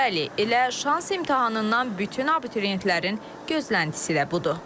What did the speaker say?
Bəli, elə şans imtahanından bütün abituriyentlərin gözləntisi də budur.